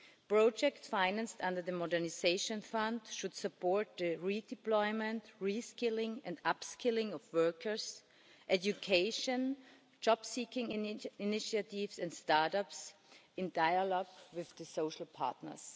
Projects financed under the Modernisation Fund should support the redeployment, reskilling and upskilling of workers, education, jobseeking initiatives and start ups, in dialogue with the social partners.